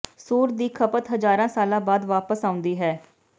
ਸੂਰ ਦੀ ਖਪਤ ਹਜ਼ਾਰਾਂ ਸਾਲਾਂ ਬਾਅਦ ਵਾਪਸ ਆਉਂਦੀ ਹੈ